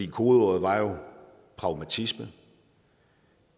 kodeordet var jo pragmatisme og